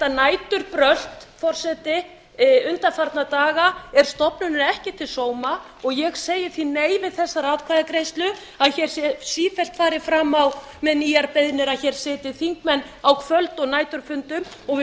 næturbrölt forseti undanfarna daga er stofnuninni ekki til sóma og ég segi því nei við þessari atkvæðagreiðslu að hér sé sífellt farið fram á með nýjar beiðnir að hér sitji þingmenn á kvöld og næturfundum og við